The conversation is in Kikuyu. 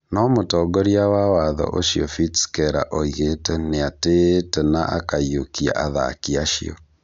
No mũtongoria wa watho ũcio Fritz Keller oigĩte "nĩatĩĩte na kũiyũkia" athaki acio